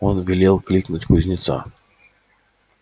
он велел кликнуть кузнеца